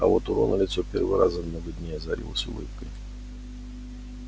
а вот у рона лицо первый раз за много дней озарилось улыбкой